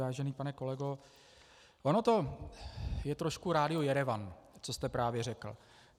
Vážený pane kolego, ono to je trošku Rádio Jerevan, co jste právě řekl.